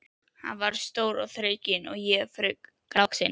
Hann var stór og þrekinn en ég fremur lágvaxinn.